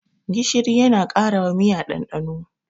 Gishiri yana karawa miya ɗanɗano.